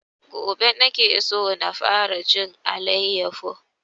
Gobe nake so na fara jin alayyafo